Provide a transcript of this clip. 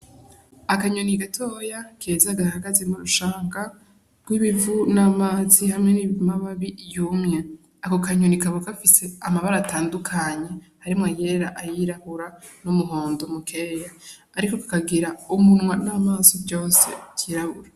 Akanyoni gatoya keza gahagaze mu rushanga gw' ibivu n' amazi hamwe n' amababi yumye ako kanyoni kakaba gafise, amabara atandukanye harimwo ayera ayirabura n' umuhondo mukeya ariko kakagira umunwa n' amaso vyose vyirabura.